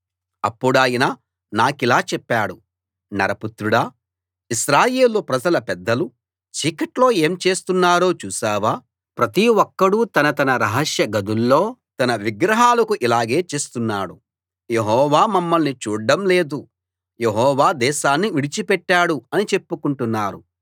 అప్పుడాయన నాకిలా చెప్పాడు నరపుత్రుడా ఇశ్రాయేలు ప్రజల పెద్దలు చీకట్లో ఏం చేస్తున్నారో చూశావా ప్రతి ఒక్కడూ తన తన రహస్య గదుల్లో తన విగ్రహాలకు ఇలాగే చేస్తున్నాడు యెహోవా మమ్మల్ని చూడ్డం లేదు యెహోవా దేశాన్ని విడిచిపెట్టాడు అని చెప్పుకుంటున్నారు